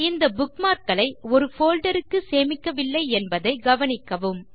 இந்த புக்மார்க் களை ஒரு போல்டர் க்கு சேமிக்கவில்லை என்பதை கவனிக்கவும்